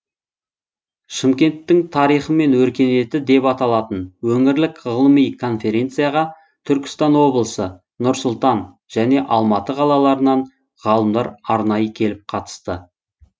шымкенттің тарихы мен өркениеті деп аталатын өңірлік ғылыми конференцияға түркістан облысы нұр сұлтан және алматы қалаларынан ғалымдар арнайы келіп қатысты